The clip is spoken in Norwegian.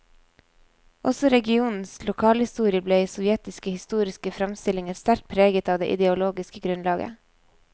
Også regionens lokalhistorie ble i sovjetiske historiske framstillinger sterkt preget av det ideologiske grunnlaget.